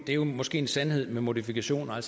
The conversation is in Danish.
det er måske en sandhed med modifikationer